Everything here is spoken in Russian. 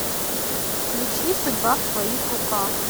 включи судьба в твоих руках